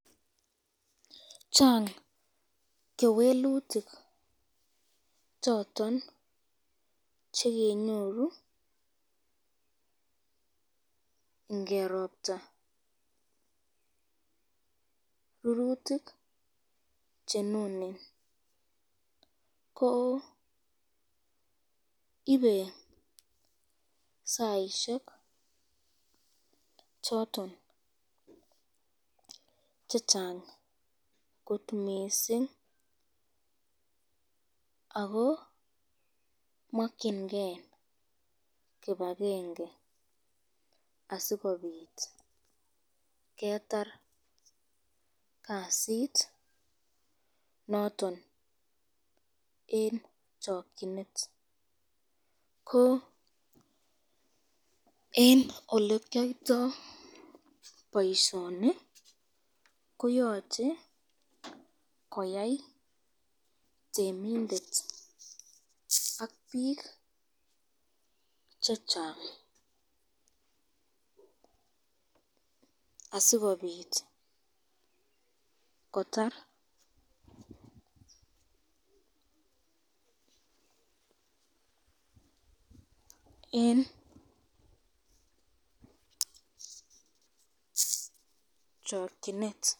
Chang kewelutik choton chekenyoru ngeropta rurutik chenunen ko ibei saishek choton chechang kot mising ako mokchinke kibakenge asikobit ketar kasit noton en chokchinet ko en olekiyoitoi boishoni koyochei koyai temindet ak biik che chang asikobit kotar eng chokchinet.